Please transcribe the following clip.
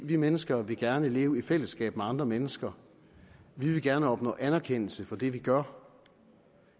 vi mennesker vil gerne leve i fællesskab med andre mennesker vi vil gerne opnå anerkendelse for det vi gør